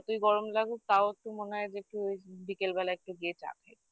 যতই গরম লাগুক তাও একটু মনে হয় যে একটু বিকেলবেলা একটু গিয়ে চা খাই